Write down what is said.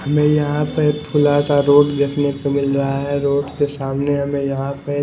हमें यहाँ पर रोड दिखने को मिला रहा है रोड के सामने हमें यहाँ पे--